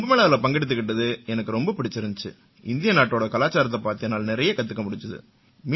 கும்ப மேளாவுல பங்கெடுத்துக்கிட்டது எனக்கு ரொம்ப பிடிச்சிருந்திச்சு இந்திய நாட்டோட கலாச்சாரத்தைப் பார்த்து என்னால நிறைய கத்துக்க முடிஞ்சுது